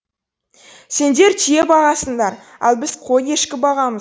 сендер түйе бағасыңдар ал біз қой ешкі бағамыз